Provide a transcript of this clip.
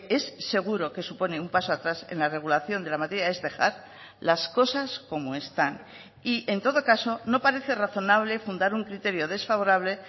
es seguro que supone un paso atrás en la regulación de la materia es dejar las cosas como están y en todo caso no parece razonable fundar un criterio desfavorable